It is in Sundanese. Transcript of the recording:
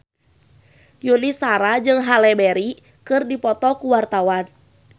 Yuni Shara jeung Halle Berry keur dipoto ku wartawan